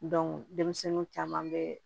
denmisɛnninw caman bɛ